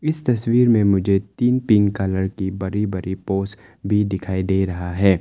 इस तस्वीर में मुझे तीन पिंक कलर की बड़ी बड़ी पोस भी दिखाई दे रहा है।